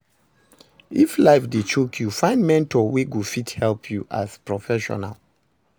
If life dey choke yu, find mentor wey go fit advice yu as professional